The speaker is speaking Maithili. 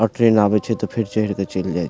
और ट्रेन आबे छै ते फेर चढ़ के चएल --